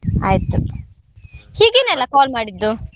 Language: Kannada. ಆಯ್ತು ಹೀಗೇನೆ ಅಲ್ಲ call ಮಾಡಿದ್ದು?